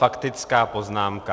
Faktická poznámka.